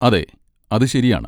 അതെ, അത് ശരിയാണ്.